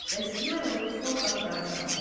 Dəstəyə alıb sol qapıdan çıxar.